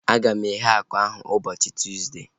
A ga m eghe akụ ahu ụbọchị Tuuzde